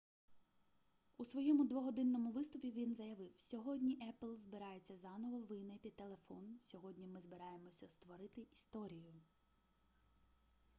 у своєму двогодинному виступі він заявив сьогодні apple збирається заново винайти телефон сьогодні ми збираємося створити історію